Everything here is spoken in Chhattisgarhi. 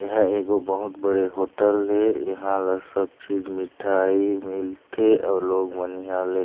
यहाँ एगो बहुत बड़ॆ होटल है इहा ल सब चीज मिठाई मिलथे अउ लोग मन इहा ले--